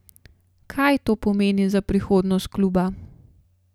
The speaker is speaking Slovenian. Kaj to pomeni za prihodnost kluba?